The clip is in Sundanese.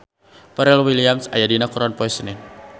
Pharrell Williams aya dina koran poe Senen